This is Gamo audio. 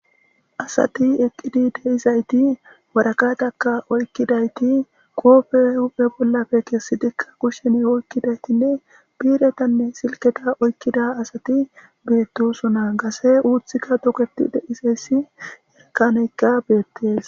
asati eqqidi deizayti warakataka oykkidayti qoofe huphe bollafe kessidikka kushsheni oykkidaytinne biiretanne silketa oykkida asati beettosona gase uuthikka doketi deizayssi ekaneykka beettes